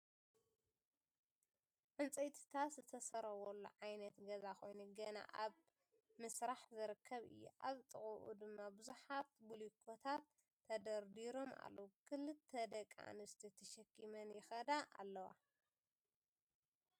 ዕጨይትታት ዝተሰረወሉ ዓይነት ገዛ ኮይኑ ገና እብ ምስራሕ ዝርከብ እዩ። ኣብ ጥቅኡ ድማ ብዙሓት ቦሊኮታት ተደርዲሮም ኣለው ክልተ ደቂ ኣንስትዮ ተሸኪመን ይከዳ ኣለዋ።